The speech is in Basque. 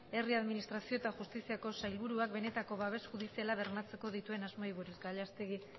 herri administrazio eta justiziako sailburuak benetako babes judiziala bermatzeko dituen asmoei buruz gallastegi